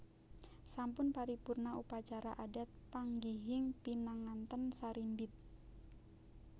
Sampun paripurna upacara adat panggihing pinanganten sarimbit